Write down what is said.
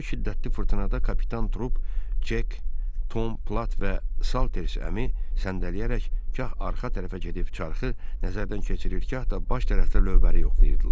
Bu şiddətli fırtınada kapitan Trup, Cek, Tom Plat və Salters əmi səndələyərək gah arxa tərəfə gedib çarxı nəzərdən keçirir, gah da baş tərəfdə lövbəri yoxlayırdılar.